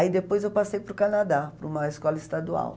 Aí depois eu passei para o Canadá, para uma escola estadual.